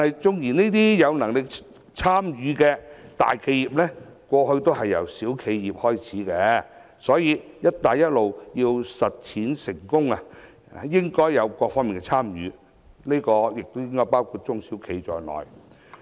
縱使有能力參與的都是大型企業，但過去也是由小型企業開始，所以，"一帶一路"要成功實踐，應有各方的參與，包括中小企。